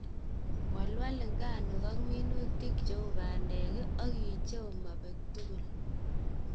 Walwal nganuk ak minutik cheu bandek ak icheu mobek tugul.